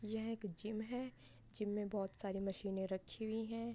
यह एक जिम है | जिम में बोहत सारी मशीनें रखी हुई हैं |